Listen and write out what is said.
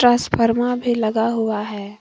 टसफर्मा भी लगा हुआ है।